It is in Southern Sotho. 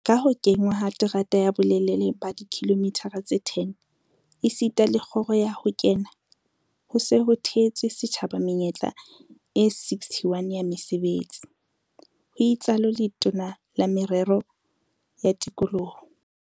"Ka ho kenngwa ha terata ya bolelele ba dikilomitara tse 10 esita le kgoro ya ho kena, ho se ho theetswe setjhaba menyetla e 61 ya mesebetsi," ho itsalo Letona la Merero ya Tikoloho